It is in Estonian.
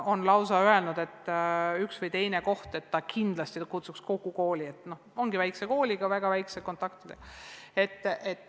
Üks või teine koht on lausa öelnud, et nad kindlasti kutsuks kokku kogu kooli, sest tegemist on väikese kooliga ja väga väheste kontaktidega.